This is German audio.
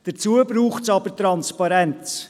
Dazu braucht es aber Transparenz.